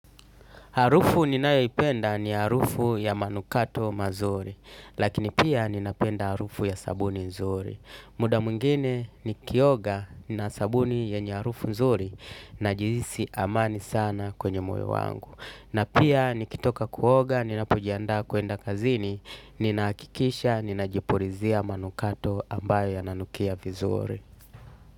Harufu ninayoipenda ni harufu ya manukato mazuri, lakini pia ninapenda harufu ya sabuni nzuri. Muda mwingine nikioga na sabuni yenye harufu nzuri najihisi amani sana kwenye moyo wangu. Na pia nikitoka kuoga, ninapojiandaa kwenda kazini, ninahakikisha, ninajipulizia manukato ambayo yananukia vizuri.